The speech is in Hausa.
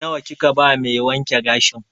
Nawa kika ba mai wanke gashin?